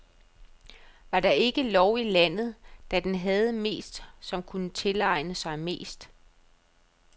Var der ikke lov i landet, da havde den mest, som kunne tilegne sig mest.